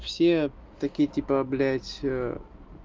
все такие типа блять